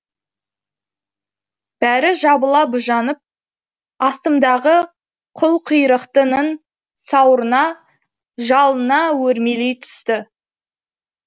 бәрі жабыла быжынап астымдағы қылқұйрықтының сауырына жалына өрмелей түсті